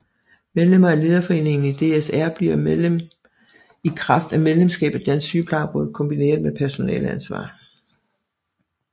Medlemmer af Lederforeningen i DSR bliver medlem i kraft af medlemskab af Dansk Sygeplejeråd kombineret med personaleansvar